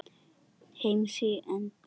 heims í eymda kjörum